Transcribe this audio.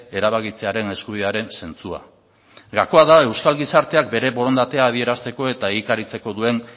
erabakitzearen eskubidearen zentzua gakoa da euskal gizarteak bere borondatea adierazteko eta egikaritzeko duen